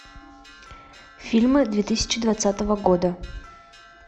фильмы две тысячи двадцатого года